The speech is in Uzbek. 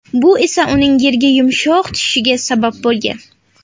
Bu esa uning yerga yumshoq tushishiga sabab bo‘lgan.